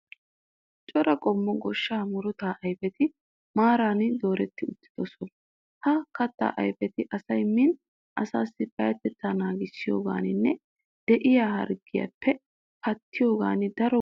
Cora qommo goshshaa murutaa ayifeti maaran doretti uttidosona. Ha kattaa ayifeti asayi miin asaassi payyatettaa naagiyogaaninne de'iya harggiyappe pattiyoogan daro go'aa immoosona.